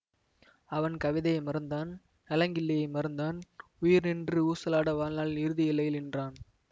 அவன் கவிதையை மறந்தான் நலங்கிள்ளியை மறந்தான் உயிர் நின்று ஊசலாட வாழ்நாளின் இறுதி எல்லையிலே நின்றான்